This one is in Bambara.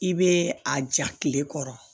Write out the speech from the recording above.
I bɛ a ja tile kɔrɔ